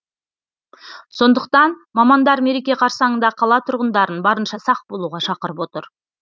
сондықтан мамандар мереке қарсаңында қала тұрғындарын барынша сақ болуға шақырып отыр